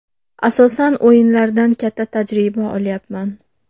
Asosan o‘yinlardan katta tajriba olyapman.